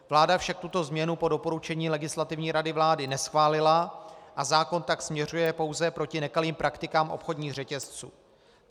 Vláda však tuto změnu po doporučení Legislativní rady vlády neschválila a zákon tak směřuje pouze proti nekalým praktikám obchodních řetězců.